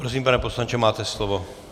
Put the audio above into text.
Prosím, pane poslanče, máte slovo.